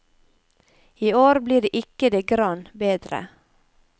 I år blir det ikke det grann bedre.